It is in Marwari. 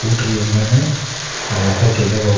पुट रही है इक माइन जा के देखो --